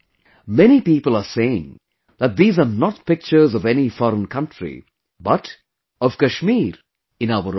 Many people are saying that these are not pictures of any foreign country, but of Kashmir in our own country